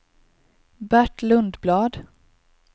Bert Lundblad